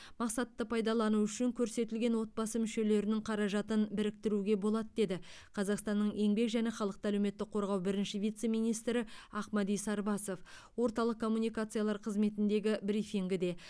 мақсатты пайдалану үшін көрсетілген отбасы мүшелерінің қаражатын біріктіруге болады деді қазақстанның еңбек және халықты әлеуметтік қорғау бірінші вице министрі ақмәди сарбасов орталық коммуникациялар қызметіндегі брифингіде